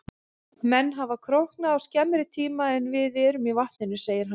Menn hafa króknað á skemmri tíma en þið voruð í vatninu, sagði hann.